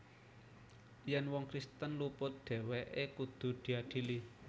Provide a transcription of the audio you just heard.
Yèn wong Kristen luput dhèwèké kudu diadili